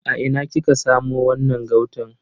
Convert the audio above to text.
A ina kika samo wannan gautan?